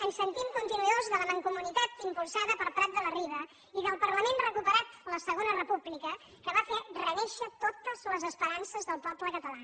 ens sentim continuadors de la mancomunitat impulsada per prat de la riba i del parlament recuperat la segona república que va fer renéixer totes les esperances del poble català